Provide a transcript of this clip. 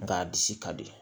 Nga a disi ka di